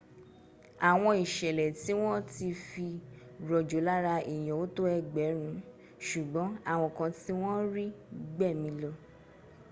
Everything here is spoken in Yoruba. àwọn ìṣẹ̀lẹ̀ tí wọn ti fi rojo lára èyàn ò tó egberun ṣùgbọ́n àwọn kan tí wọ́n rí gbẹ̀mí lọ